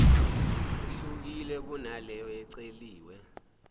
ihlukile kunaleyo eceliwe